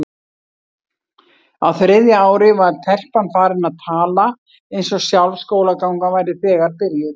Á þriðja ári var telpan farin að tala eins og sjálf skólagangan væri þegar byrjuð.